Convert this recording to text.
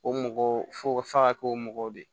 O mɔgɔ fo f'a ka kɛ o mɔgɔw de ye